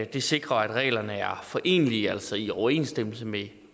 det sikrer at reglerne er forenelige med altså i overensstemmelse med